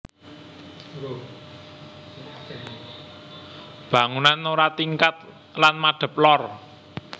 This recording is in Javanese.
Bangunan ora tingkat lan madep lor